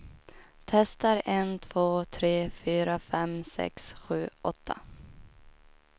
Testar en två tre fyra fem sex sju åtta.